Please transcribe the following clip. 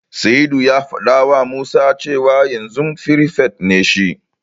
Sa'idu ya fadawa Musa cewa yanzu firifet ne shi.